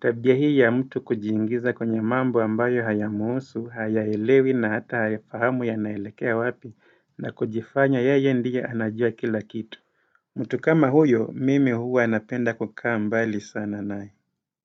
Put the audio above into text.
Tabia hii ya mtu kujiingiza kwenye mambo ambayo hayamhusu, hayaelewi na hata haifahamu yanaelekea wapi na kujifanya yeye ndiye anajua kila kitu. Mutu kama huyo mimi huwa napenda kukaa mbali sana naye.